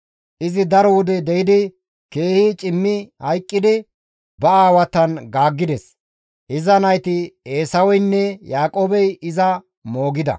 izi daro wode de7idi keehi cimmi hayqqidi ba aawatan gaaggides; iza nayti Eesaweynne Yaaqoobey iza moogida.